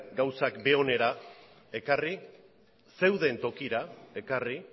gauzak bere onera ekarri zeuden tokira ekarri